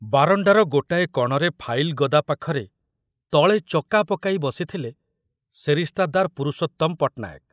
ବାରଣ୍ଡାର ଗୋଟାଏ କଣରେ ଫାଇଲ ଗଦା ପାଖରେ ତଳେ ଚକା ପକାଇ ବସିଥିଲେ ସେରିସ୍ତାଦାର ପୁରୁଷୋତ୍ତମ ପଟନାୟକ।